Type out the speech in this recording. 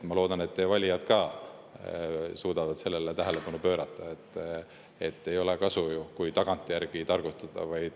Ma loodan, et teie valijad ka suudavad teie tähelepanu sellele, et ei ole kasu, kui tagantjärgi targutada.